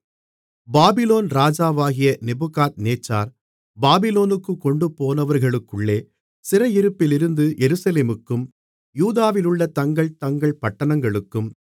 Babylon ராஜாவாகிய நேபுகாத்நேச்சார் பாபிலோனுக்குக் கொண்டுபோனவர்களுக்குள்ளே சிறையிருப்பிலிருந்து எருசலேமுக்கும் யூதாவிலுள்ள தங்கள் தங்கள் பட்டணங்களுக்கும்